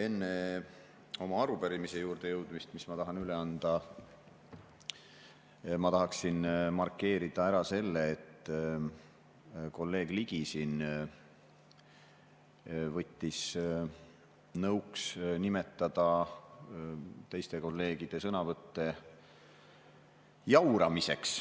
Enne, kui ma jõuan oma arupärimise juurde, mille ma tahan üle anda, ma tahaksin markeerida ära selle, et kolleeg Ligi võttis siin nõuks nimetada teiste kolleegide sõnavõtte jauramiseks,